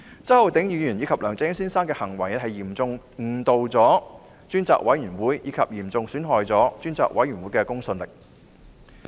周浩鼎議員及梁振英先生的行為嚴重誤導專責委員會，亦嚴重損害專責委員會的公信力。